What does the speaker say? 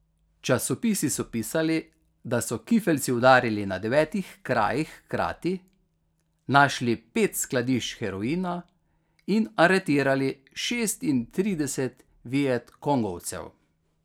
Časopisi so pisali, da so kifeljci udarili na devetih krajih hkrati, našli pet skladišč heroina in aretirali šestintrideset vietkongovcev.